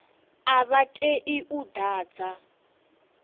a vha tei u ḓadza